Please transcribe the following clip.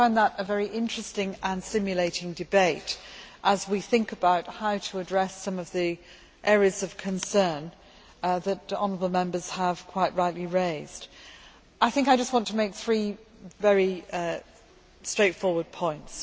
I found that a very interesting and stimulating debate. As we think about how to address some of the areas of concern that honourable Members have quite rightly raised, I just want to make three very straightforward points.